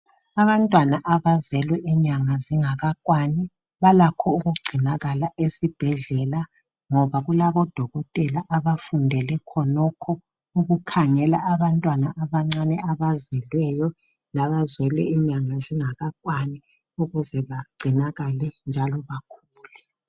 Abantwana abazelwe inyanga zingakakwani balakho ukugcinakala esibhedlela ngoba kulabodokotela abafundele khonokho ukukhangela abantwana abancane abazelweyo labazelwe inyanga zingakakwani ukuze bagcinakale njalo bakhule.